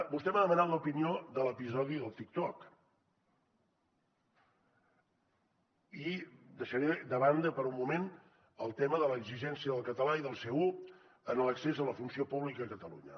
vostè m’ha demanat l’opinió de l’episodi del tiktok i deixaré de banda per un moment el tema de l’exigència del català i del c1 en l’accés a la funció pública a catalunya